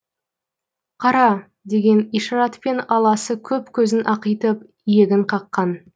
қара деген ишаратпен аласы көп көзін ақитып иегін қаққан